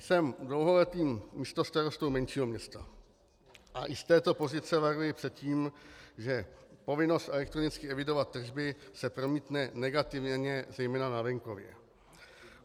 Jsem dlouholetým místostarostou menšího města a i z této pozice varuji před tím, že povinnost elektronicky evidovat tržby se promítne negativně zejména na venkově.